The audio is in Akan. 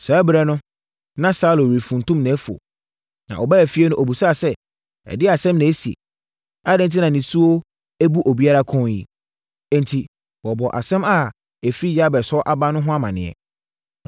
Saa ɛberɛ no, na Saulo refuntum nʼafuo. Na ɔbaa efie no, ɔbisaa sɛ, “Ɛdeɛn asɛm na asie? Adɛn enti na nisuo abu obiara kɔn yi?” Enti, wɔbɔɔ asɛm a ɛfiri Yabes hɔ aba no ho amanneɛ.